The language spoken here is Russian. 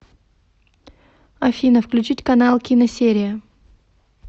афина включить канал киносерия